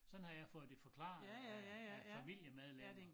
Sådan har jeg fået det forklaret af af familiemedlemmer